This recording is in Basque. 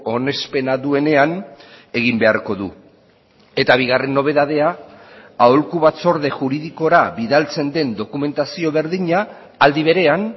onespena duenean egin beharko du eta bigarren nobedadea aholku batzorde juridikora bidaltzen den dokumentazio berdina aldi berean